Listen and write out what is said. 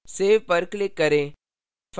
save पर click करें